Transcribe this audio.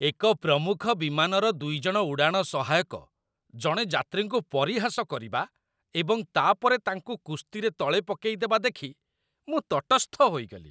ଏକ ପ୍ରମୁଖ ବିମାନର ଦୁଇ ଜଣ ଉଡ଼ାଣ ସହାୟକ ଜଣେ ଯାତ୍ରୀଙ୍କୁ ପରିହାସ କରିବା ଏବଂ ତା'ପରେ ତାଙ୍କୁ କୁସ୍ତିରେ ତଳେ ପକାଇଦେବା ଦେଖି ମୁଁ ତଟସ୍ଥ ହୋଇଗଲି।